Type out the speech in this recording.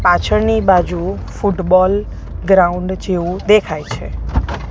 પાછળની બાજુ football ground જેવુ દેખાય છે.